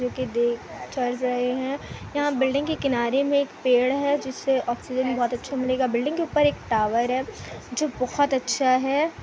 देख- चल रहे हैं यहां बिल्डिंग के किनारे मे एक पेड़ है जिससे ऑक्सीजन बहुतअच्छा मिलेगा बिल्डिंग के ऊपर एक टावर है जो बहुत अच्छा है।